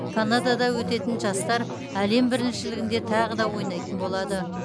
канадада өтетін жастар әлем біріншілігінде тағы да ойнайтын болады